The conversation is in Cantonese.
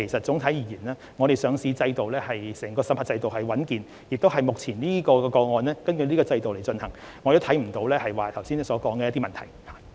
整體而言，香港的上市審核制度穩健，目前討論的個案亦同樣據此制度處理，我看不到議員剛才提及的問題。